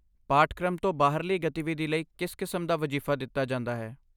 ਪਾਠਕ੍ਰਮ ਤੋਂ ਬਾਹਰਲੀ ਗਤੀਵਿਧੀ ਲਈ ਕਿਸ ਕਿਸਮ ਦਾ ਵਜ਼ੀਫ਼ਾ ਦਿੱਤਾ ਜਾਂਦਾ ਹੈ?